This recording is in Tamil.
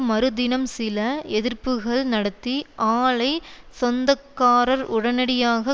மறு தினம் சில எதிர்ப்புக்கள் நடத்தி ஆலைச் சொந்தக்காரர் உடனடியாக